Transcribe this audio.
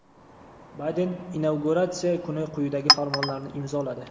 Bayden inauguratsiya kuni quyidagi farmonlarni imzoladi:.